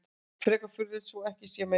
Frekar furðulegt svo ekki sé meira sagt.